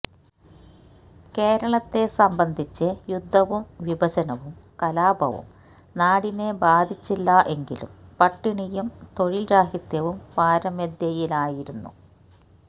കേരളത്തെ സംബന്ധിച്ച് യുദ്ധവും വിഭജനവും കലാപവും നാടിനെ ബാധിച്ചില്ല എങ്കിലും പട്ടിണിയും തൊഴിൽ രാഹിത്യവും പാരമ്യതയിലായിരുന്നു